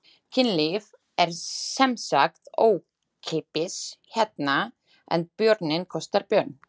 Kynlíf er semsagt ókeypis hérna en bjórinn kostar björn.